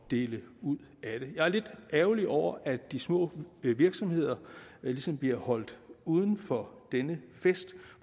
dele ud af det jeg er lidt ærgerlig over at de små virksomheder ligesom bliver holdt uden for denne fest